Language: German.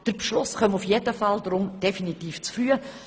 Der Beschluss komme jedenfalls definitiv zu früh.